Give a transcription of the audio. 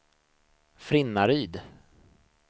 Frinnaryd